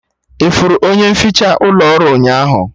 Ị hụrụ onye nficha ụlọ ọrụ ụnyaahụ?